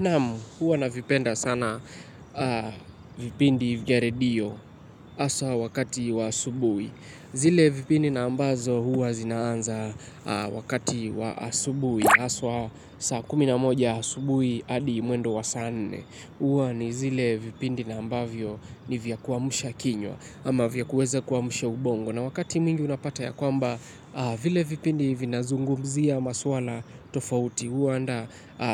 Naam, huwa na vipenda sana vipindi vya redio hasa wakati wa asubuhi. Zile vipindi na ambazo huwa zinaanza wakati wa asubuhi. Haswa saa kumi na moja asubuhi adi muendo wa saa nne. Huwa ni zile vipindi na ambavyo ni vya kuamsha kinywa ama vya kuweze kuamsha ubongo. Na wakati mwingi unapata ya kwamba vile vipindi vina zungumzia maswala tofauti. Huenda